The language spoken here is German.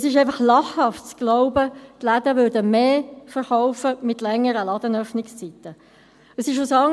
– Es ist einfach lachhaft zu glauben, die Läden würden mit längeren Ladenöffnungszeiten verkaufen.